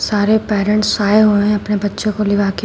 सारे पेरेंट्स आए हुए हैं अपने बच्चों को लिवा के।